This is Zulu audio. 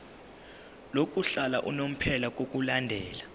lokuhlala unomphela ngokulandela